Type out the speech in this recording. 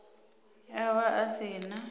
a vha a si na